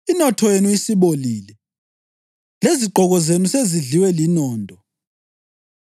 Inotho yenu isibolile, lezigqoko zenu sezidliwe linondo.